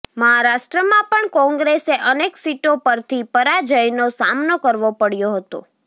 મહારાષ્ટ્રમાં પણ કોંગ્રેસે અનેક સીટો પરથી પરાજયનો સામનો કરવો પડ્યો હતો